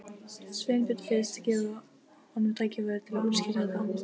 Sveinbjörn fyrst, gefa honum tækifæri til að útskýra þetta.